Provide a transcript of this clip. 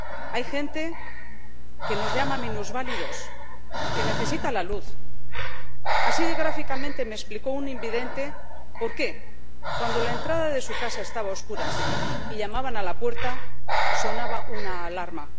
Hay gente que nos llama minusválidos que necesita la luz así de gráficamente me explicó un invidente por qué, cuando la entrada de su casa estaba a oscuras y llamaban a la puerta, sonaba una alarma.